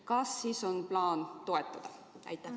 Kas teil on plaan seda toetada?